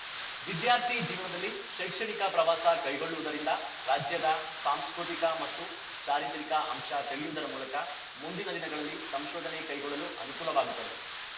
ವಿದ್ಯಾರ್ಥಿ ಜೀವನದಲ್ಲಿ ಶೈಕ್ಷಣಿಕ ಪ್ರವಾಸ ಕೈಗೊಳ್ಳುವುದರಿಂದ ರಾಜ್ಯದ ಸಾಂಸ್ಕೃತಿಕ ಮತ್ತು ಚಾರಿತ್ರಿಕ ಅಂಶ ತಿಳಿಯುವುದರ ಮೂಲಕ ಮುಂದಿನ ದಿನಗಳಲ್ಲಿ ಸಂಶೋಧನೆ ಕೈಗೊಳ್ಳಲು ಅನುಕೂಲವಾಗುತ್ತದೆ